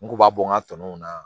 N ku b'a bɔ n ka tɔnɔ na